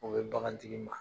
O bɛ bagantigi ma.